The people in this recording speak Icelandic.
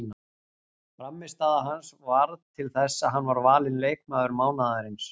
Frammistaða hans varð til þess að hann var valinn leikmaður mánaðarins.